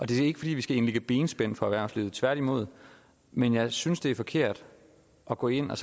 det er ikke fordi vi skal indlægge benspænd for erhvervslivet tværtimod men jeg synes det er forkert at gå ind og